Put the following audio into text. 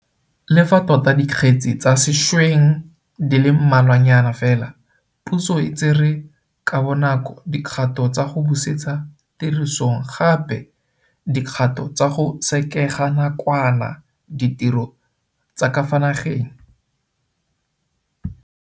Le fa tota dikgetse tsa sešweng di le mmalwanyana fela, puso e tsere ka bonako dikgato tsa go busetsa tirisong gape di kgato tsa go sekega nakwana ditiro tsa ka fa nageng.